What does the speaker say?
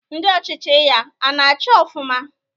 Ndị ọchịchị ya a na-achị ofụma?